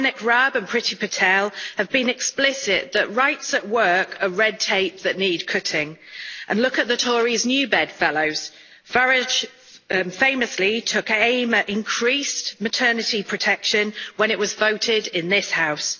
Dominic Raab and Priti Patel have been explicit that rights at work are red tape that need cutting, and look at the Tories' new bedfellows Farage famously took aim at increased maternity protection when it was voted on in this House.